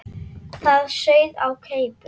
Það sauð á keipum.